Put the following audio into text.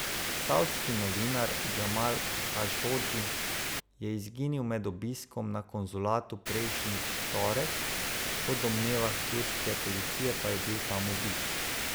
Savdski novinar Džamal Hašodži je izginil med obiskom na konzulatu prejšnji torek, po domnevah turške policije pa je bil tam ubit.